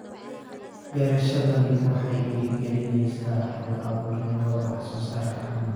Beerashadani waxay dhiirigelinaysaa hal-abuurnimada wax-soo-saarka caanaha.